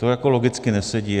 To logicky nesedí.